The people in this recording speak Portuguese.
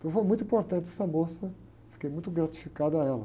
Então foi muito importante essa moça, fiquei muito gratificado a ela.